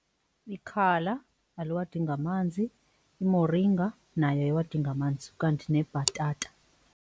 Ikhala aliwadingi amanzi, imoringa nayo ayiwadingi amanzi, ukanti nebhatata.